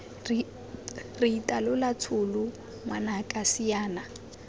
re itatola tsholo ngwanaka siana